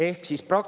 Kolm minutit lisaks.